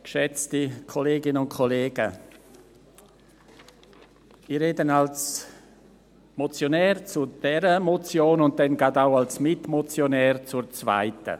Ich rede als Motionär zu dieser Motion und dann auch gerade als Mitmotionär zur zweiten.